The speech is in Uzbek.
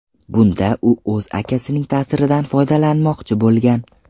Bunda u o‘z akasining ta’siridan foydalanmoqchi bo‘lgan.